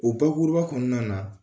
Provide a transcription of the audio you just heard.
O bakuruba kɔnɔna na